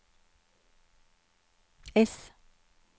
S